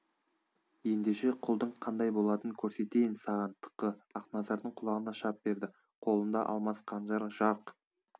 ендеше құлдың қандай болатынын көрсетейін саған тықы ақназардың құлағына шап берді қолында алмас қанжар жарқ